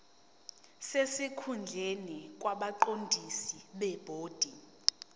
sesikhundleni kwabaqondisi bebhodi